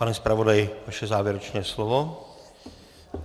Pane zpravodaji, vaše závěrečné slovo.